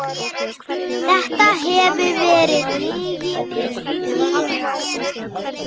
Þetta hefur verið lyginni líkast.